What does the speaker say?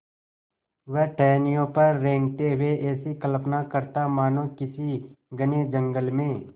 वह टहनियों पर रेंगते हुए ऐसी कल्पना करता मानो किसी घने जंगल में